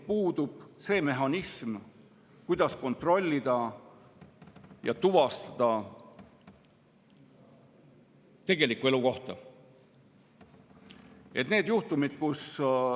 Puudub mehhanism, kuidas kontrollida ja tuvastada tegelikku elukohta.